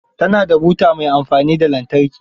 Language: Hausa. Ta na da buta mai amfani da lantarki.